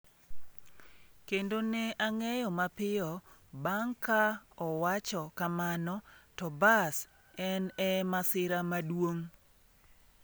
Kendo ne ang’eyo mapiyo bang’ ka owacho kamano to bas en e masira maduong’.”